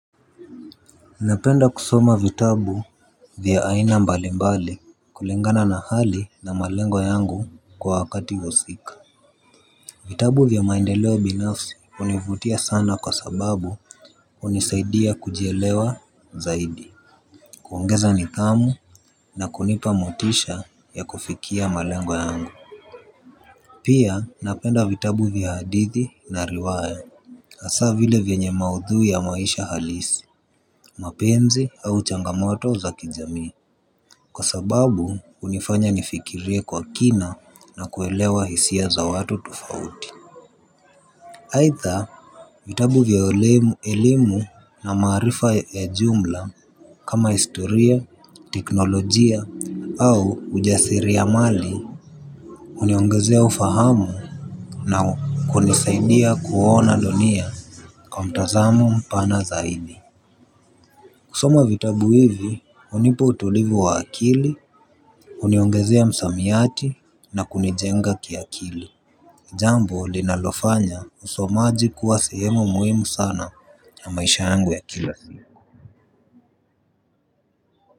Napenda kusoma vitabu vya aina mbali mbali kulingana na hali na malengo yangu kwa wakati husika. Vitabu vya maendeleo binafsi univutia sana kwa sababu unisaidia kujielewa zaidi. Kuongeza nithamu na kunipa motisha ya kufikia malengo yangu. Pia napenda vitabu vya hadithi na riwaya. Asa vile vyanye maudhu ya maisha halisi, mapenzi au changamoto za kijamii kwa sababu unifanya nifikirie kwa kina na kuelewa hisia za watu tufauti. Haitha vitabu vya elimu na maarifa ya jumla kama historia, teknolojia au ujasiri ya mali. Uniongezea ufahamu na kunisaindia kuona dunia kwa mtazamo mpana zaidi. Kusoma vitabu hivi, unipo utulivu wa akili, uniongezea msamiati na kunijenga kia akili. Jambo linalofanya usomaji kuwa sehemu muhimu sana ya maisha yangu ya kila.